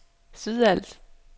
Sydals